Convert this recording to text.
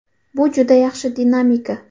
Bu juda yaxshi dinamika.